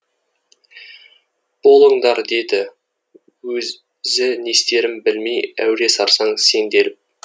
болындар деді өзі не істерін білмей әуре сарсаң сенделіп